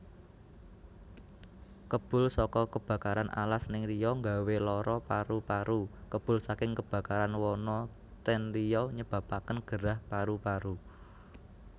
Kebul soko kebakaran alas ning Riau nggawe loro paru paru Kebul saking kebakaran wana ten Riau nyebabaken gerah paru paru